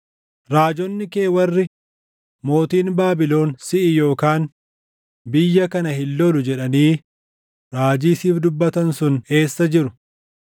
Raajonni kee warri, ‘Mootiin Baabilon siʼi yookaan biyya kana hin lollu’ jedhanii raajii siif dubbatan sun eessa jiru?